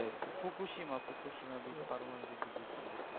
ফুফু সীমা ফুফু সীমা পারমাণবিক বিদ্যুৎ থেকে